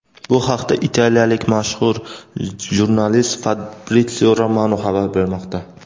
Bu haqda italiyalik mashhur jurnalist Fabritsio Romano xabar bermoqda.